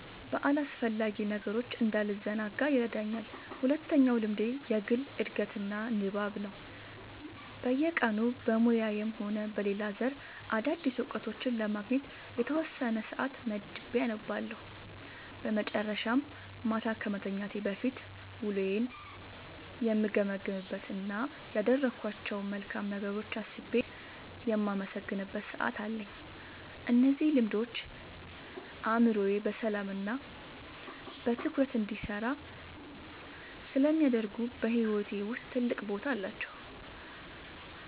በአላስፈላጊ ነገሮች እንዳልዘናጋ ይረዳኛል። ሁለተኛው ልምዴ የግል ዕድገትና ንባብ ነው፤ በየቀኑ በሙያዬም ሆነ በሌላ ዘርፍ አዳዲስ እውቀቶችን ለማግኘት የተወሰነ ሰዓት መድቤ አነባለሁ። በመጨረሻም፣ ማታ ከመተኛቴ በፊት ውሎዬን የምገመግምበት እና ያደረግኳቸውን መልካም ነገሮች አስቤ የማመሰግንበት ሰዓት አለኝ። እነዚህ ልምዶች አእምሮዬ በሰላምና በትኩረት እንዲሰራ ስለሚያደርጉ በሕይወቴ ውስጥ ትልቅ ቦታ አላቸው።"